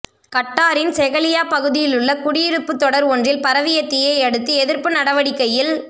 கட்டாரின் செஹெலியா பகுதியிலுள்ள குடியிருப்புத் தொடர் ஒன்றில் பரவிய தீயை அடுத்து எதிர்ப்பு நடவடிக்கையில்